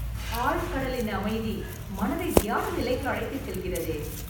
ஆழ்கடலின் அமைதி, மனதை தியான நிலைக்கு அழைத்துச் செல்கிறதே...